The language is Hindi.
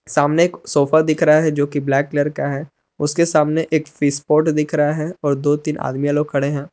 सामने एक सोफा दिख रहा है जो कि ब्लैक कलर का है उसके सामने एक फिशपोट दिख रहा है और दो तीन आदमीया लोग खड़े हैं।